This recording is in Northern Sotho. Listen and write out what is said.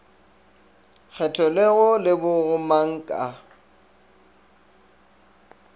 kgethelwego le bo gomang ka